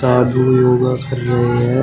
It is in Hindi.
साधु योगा कर रहे हैं।